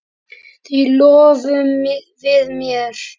Því lofum við þér!